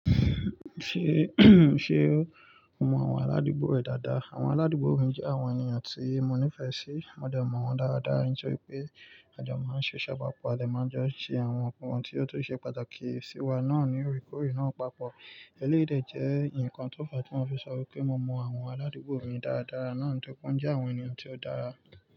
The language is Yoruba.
Ṣe ṣe o mọ àwọn aládùúgbò rẹ̀ dáadáa? Àwọn aládùúgbò mi jẹ́ àwọn ènìyàn tí mo nífẹ̀ẹ́ sí. Mo de mọ̀ wọ́n dáadáa, nítorí pé a jọ máa ń ṣe ṣe pàá pọ̀, a dẹ máa jọ ṣe àwọn ohun tí ó tó ṣe pàtàkì sí wa náà ní ore kóre náà papọ̀. Eléyii dè jẹ́ ǹkan tó fàá tí mọ́ fi sọ wípé mo mọ àwọn aládùúgbò mi dáadáa náà ńitori pe won jẹ́ àwọn ènìyàn tí ó dára.